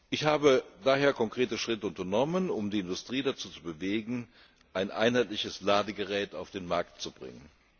Ich habe daher konkrete Schritte unternommen, um die Industrie dazu zu bewegen, ein einheitliches Ladegerät auf den Markt zu bringen.